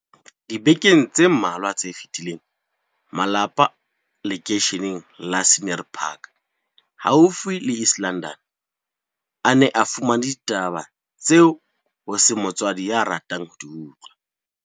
Dibekeng tse mmalwa tse fetileng, malapa a lekeishene la Scenery Park haufi le East London, a ne a fumane ditaba tseo ho seng motswadi ya ratang ho di utlwa.